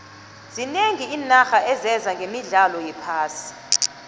zinengi iinaxha ezeza nqemidlalo yephasi